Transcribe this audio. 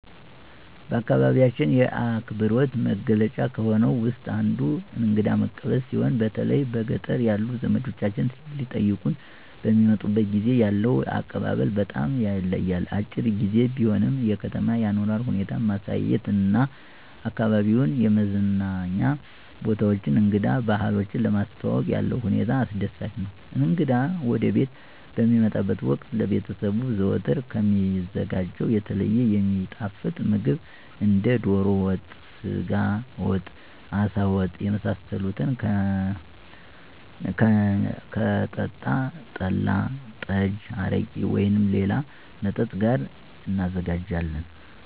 በአካባቢያችን የአክብሮት መገለጫ ከሆነው ውስጥ አንዱ እንግዳ መቀበል ሲሆን በተለይ በገጠር ያሉ ዘመዶቻችን ሊጠይቁን በሚመጡበት ጊዜ ያለው አቀባበል በጣም ይለያል። አጭር ግዜ ቢሆንም የከተማ አኗኗር ሁኔታ ማሳየት እና አካባቢዉን የመዝናኛ ቦታዎችን እንግዳ ባህሎችን ለማስተዋወቅ ያለው ሁኔታ አስደሳች ነው። እንግዳ ወደቤት በሚመጣበት ወቅት ለቤተሰቡ ዘወትር ከሚዘጋጀው የተለየ የሚጣፍጥ ምግብ እንደ ዶሮ ወጥ፣ የስጋ ወጥ፣ አሳ ወጥ የመሳሰሉትን ከሚጠጣ ጠላ፣ ጠጅ፣ አረቄ ወይም ሌላ መጠጥ ጋር እናዘጋጃለን።